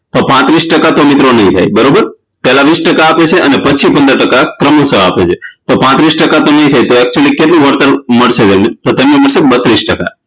તો પાત્રીસ ટકા તો મિત્રો નહીં થાય બરોબર પેહલા વીસ ટકા આપે છે અને પછી પંદર ટકા ક્રમશ આપે છે તો પાત્રીસ ટકા તો નહિ થાય તો actually કેટલું વળતર મળશે તો તેમણે મળશે બત્રીસ ટકા